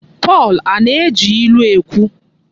Pọl Ana-eji ilu ekwu?